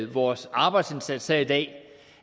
vores arbejdsindsats her i dag